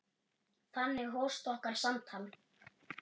Þannig hófst okkar samtal.